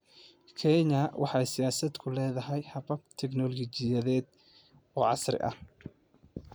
Kenya waxay siyaasadda ku leedahay habab tignoolajiyadeed oo casri ah.